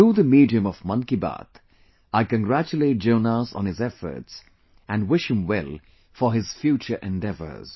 Through the medium of Mann Ki Baat, I congratulate Jonas on his efforts & wish him well for his future endeavors